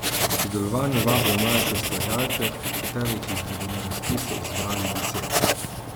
K sodelovanju vabijo mlajše ustvarjalce, od katerih jih bodo na razpisu izbrali deset.